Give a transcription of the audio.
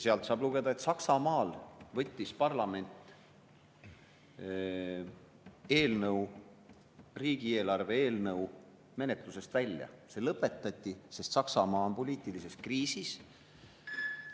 Sealt saab lugeda, et Saksamaal võttis parlament riigieelarve eelnõu menetlusest välja, see lõpetati, sest Saksamaa on poliitilises kriisis.